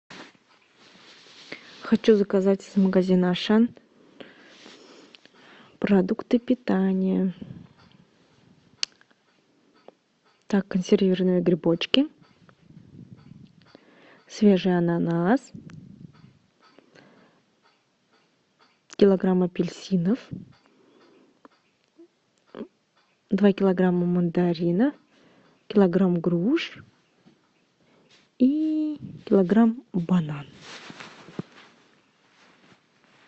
хочу заказать из магазина ашан продукты питания так консервированные грибочки свежий ананас килограмм апельсинов два килограмма мандаринов килограмм груш и килограмм бананов